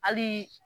Hali